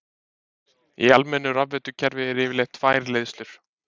Í almennu rafveitukerfi eru yfirleitt tvær leiðslur.